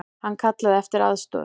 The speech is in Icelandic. Hann kallaði eftir aðstoð.